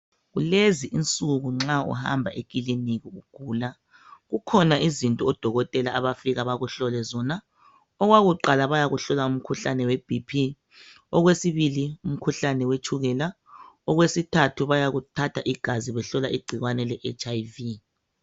Kulezi insuku nxa uhamba ekiliniki ugula kukhona izinto odokotela abafika bakuhlole zona. Okwakuqala bayakuhlola umkhuhlane we BP okwesibili umkhuhlane wetshukela okwesithathu bayakuthatha igazi behlola igcikwane le HIV